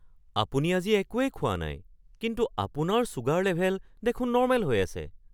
আপুনি আজি একোৱেই খোৱা নাই কিন্তু আপোনাৰ ছুগাৰ লেভেল দেখোন নৰ্মেল হৈ আছে!